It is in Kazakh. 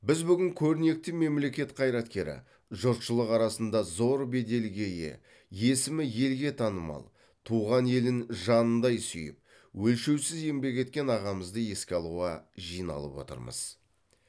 біз бүгін көрнекті мемлекет қайраткері жұртшылық арасында зор беделге ие есімі елге танымал туған елін жанындай сүйіп өлшеусіз еңбек еткен ағамызды еске алуға жиналып отырмыз